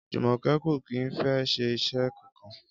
Jùmò̩ké̩ kò kì í fé̩ s̩e is̩é̩ kankan